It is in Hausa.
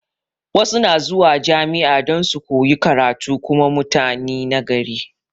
Wasu na zuwa jami'a don su koyi karatu kuma mutani na gari